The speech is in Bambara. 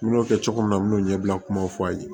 N y'o kɛ cogo min na n m'o ɲɛbila kumaw fɔ a ye